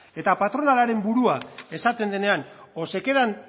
eta patronalaren burua esaten denean o se quedan